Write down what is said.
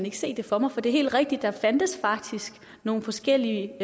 ikke se det for mig for det er helt rigtigt at fandtes nogle forskellige